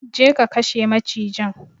Go and kill the snake!